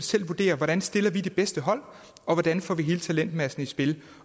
selv vurdere hvordan stiller vi det bedste hold og hvordan får vi hele talentmassen i spil